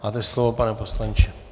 Máte slovo, pane poslanče.